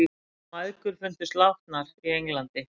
Mæðgur fundust látnar í Englandi